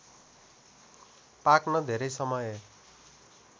पाक्न धेरै समय